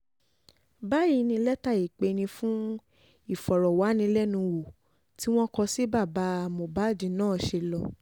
báyìí ni lẹ́tà um ìpeni fún ìfọ̀rọ̀wánilẹ́nuwò tí wọ́n kọ sí baba um mohbad náà ṣe lọ